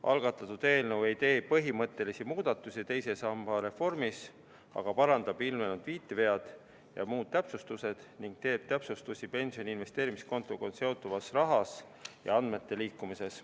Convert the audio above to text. Algatatud eelnõu ei tee põhimõttelisi muudatusi teise samba reformis, vaid parandab ilmnenud viitevead ning teeb täpsustusi pensioni investeerimiskontoga seonduvas raha ja andmete liikumises.